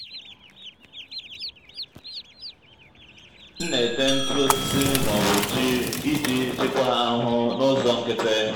m nà-ètè ntụ osisi n'òbù jí iji chịkwaa àhụhụ n'ụzọ nkịtị.